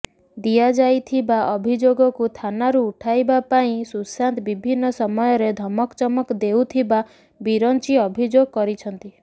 ଦିଆଯାଇଥିବା ଅଭିଯୋଗକୁ ଥାନାରୁ ଉଠାଇବା ପାଇଁ ସୁଶାନ୍ତ ବିଭିନ୍ନ ସମୟରେ ଧମକଚମକ ଦେଉଥିବା ବିରଞ୍ଚି ଅଭିଯୋଗ କରିଛନ୍ତି